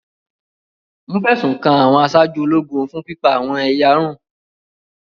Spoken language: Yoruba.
Wọ́n fẹ̀sùn kan àwọn aṣáájú ológun fun pipa awọ́n eyarun